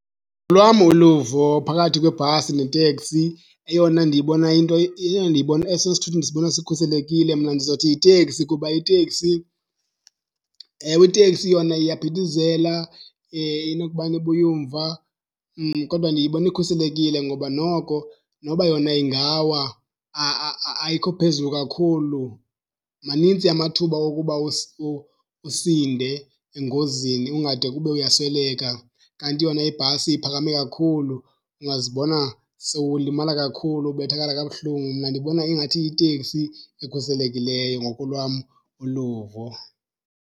Olwam uluvo phakathi kwebhasi neteksi, eyona ndiyibona into esona sithuthi ndisibona sikhuselekile mna ndizothi yiteksi kuba iteksi. Ewe, iteksi yona iyaphithizela inokubana ibuye umva kodwa ndiyibona ikhuselekile ngoba noko noba yona ingawa, ayikho phezulu kakhulu. Manintsi amathuba wokuba usinde engozini ungade kube uyasweleka. Kanti yona ibhasi iphakame kakhulu ungazibona sowulimala kakhulu, ubethakala kabuhlungu. Mna ndibona ingathi yiteksi ekhuselekileyo ngokolwam uluvo.